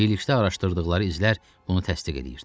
Birlikdə araşdırdıqları izlər bunu təsdiq eləyirdi.